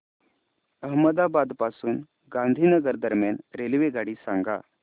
अहमदाबाद पासून गांधीनगर दरम्यान रेल्वेगाडी सांगा